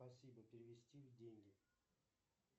спасибо перевести в деньги